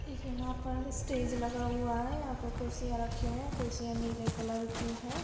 यहाँ पर स्टेज लगा हुआ है यहाँ पर कुर्सियां रखी हुई है कुर्सियां नीले कलर की हैं।